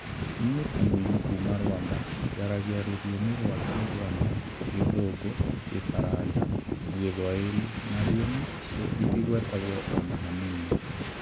Niĩ ta mũini wa kuuma Rwanda, njaragia rũthiomi rwa Kinyarwanda, Gĩthũngũ, Kĩfaranja na Gĩthwaĩri na thiomi icio itigwetagwo o na hanini